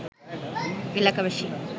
এলাকাবাসী